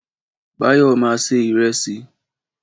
Báyọ̀ ma se ìrẹsì